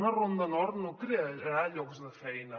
una ronda nord no crearà llocs de feina